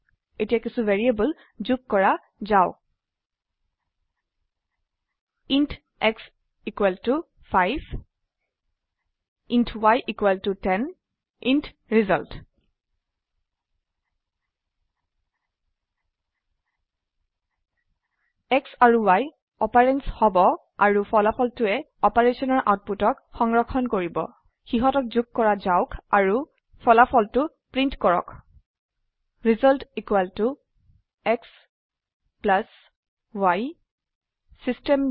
এতিয়া কিছো ভেৰিয়েবল যোগ কৰা যাওক int x 5 int y 10 int result x and y operands হব আৰু ফলাফলটোৱে অপাৰেশনৰ আওটপুতক সংৰক্ষণ কৰিব সিহতক যোগ কৰা যাওক আৰু ফলাফলটো প্ৰীন্ট কৰক Result xy চিষ্টেম